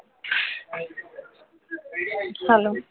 hello